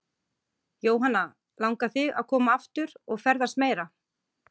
Jóhanna: Langar þig að koma aftur og ferðast meira?